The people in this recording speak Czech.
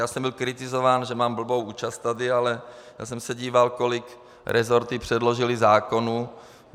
Já jsem byl kritizován, že mám blbou účast tady, ale já jsem se díval, kolik resorty předložily zákonů...